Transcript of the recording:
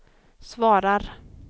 svarar